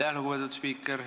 Aitäh, lugupeetud spiiker!